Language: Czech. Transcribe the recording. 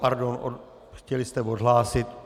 Pardon, chtěli jste odhlásit.